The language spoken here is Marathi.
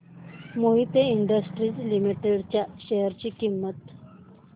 मोहित इंडस्ट्रीज लिमिटेड च्या शेअर ची किंमत